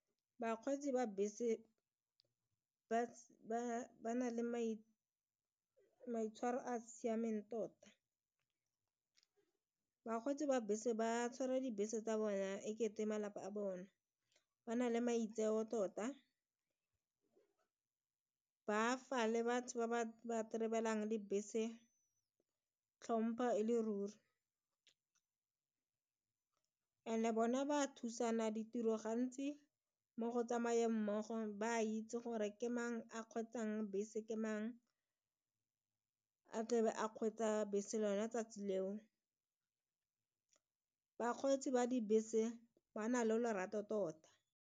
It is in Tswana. Bakgweetsi ba bese ba nang le maitshwaro a siameng tota bakgweetsi ba bese ba tshwara dibese tsa bona e kete malapa a bone ba na le maitseo tota ba fa le batho ba trebelang le bese tlhompha e le ruri and bona ba thusana ditiro gantsi mo go tsamaya mmogo ba a itse gore ke mang a kgweetsang bese ke mang a tlebe a kgweetsa bese lona tsatsi leo bakgweetsi ba dibese bana le lorato tota.